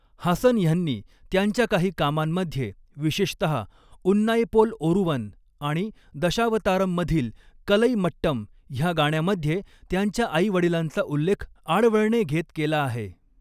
हासन ह्यांनी त्यांच्या काही कामांमध्ये, विशेषतहा 'उन्नाइपोल ओरुवन' आणि दशावतारम् मधील 'कलई मट्टम' ह्या गाण्यामध्ये, त्यांच्या आई वडिलांचा उल्लेख आडवळणे घेत केला आहे.